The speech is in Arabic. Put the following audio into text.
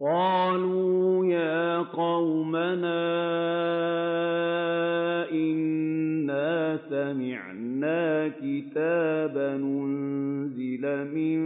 قَالُوا يَا قَوْمَنَا إِنَّا سَمِعْنَا كِتَابًا أُنزِلَ مِن